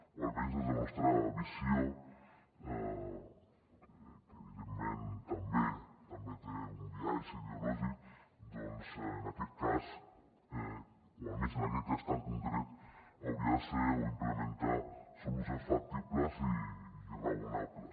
o almenys des de la nostra visió que evidentment també té un biaix ideològic doncs en aquest cas o almenys en aquest cas tan concret hauria de ser o implementar solucions factibles i raonables